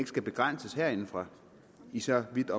skal begrænses herindefra i så vidt